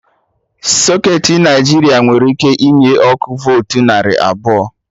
Socketị Naijiria nwere ike inye ọkụ voltu narị abụọ